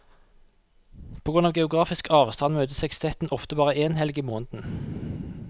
På grunn av geografisk avstand møtes sekstetten ofte bare én helg i måneden.